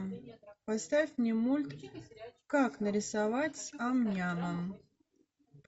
поставь мне мульт как нарисовать амняма